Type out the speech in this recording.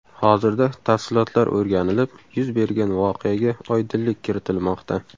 Hozirda tafsilotlar o‘rganilib, yuz bergan voqeaga oydinlik kiritilmoqda.